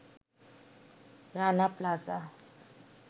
Rana plaza